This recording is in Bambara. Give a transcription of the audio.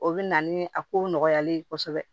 O bɛ na ni a kow nɔgɔyalen ye kosɛbɛ